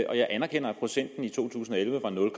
jeg anerkender at procenten i to tusind og elleve var nul